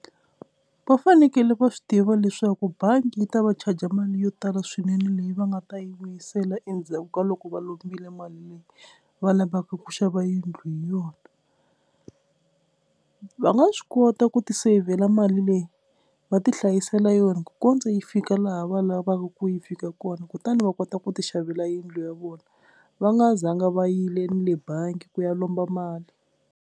Va fanekele va swi tiva leswaku bangi yi ta va charge mali yo tala swinene leyi va nga ta yi vuyisela endzhaku ka loko va lombile mali leyi va lavaka ku xava yindlu hi yona, va nga swi kota ku ti seyivhela mali leyi va ti hlayisela yona ku kondza yi fika laha va lavaka ku yi fika kona kutani va kota ku ti xavela yindlu ya vona va nga zanga va yile ni le bangi ku ya lomba mali.